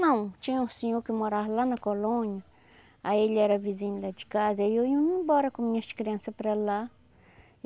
Não, tinha um senhor que morava lá na colônia, aí ele era vizinho lá de casa, aí eu ia embora com minhas crianças para lá.